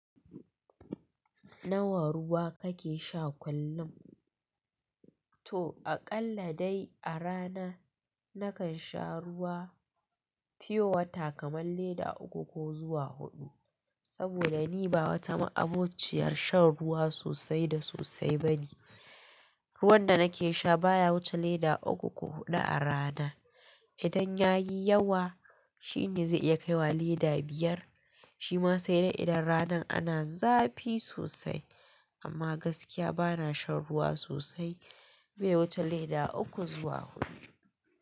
Nawa ruwa kake sha kullum? To aƙalla dai a rana nakan sha ruwa pure water kaman lita uku ko zuwa huɗu. Saboda ni ba wata ma'abociyar shan ruwa sosai da sosai bane. Ruwan da nake sha baya wuce lita uku ko huɗu a rana. Idan ya yi yawa shine zai iya kai wa leda biyar. Shi ma sai dai idan ranan ana zafi sosai. Amma gaskiya bana shan ruwa sosai. Bai wuce leda uku zuwa huɗu.